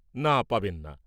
না, পাবেন না।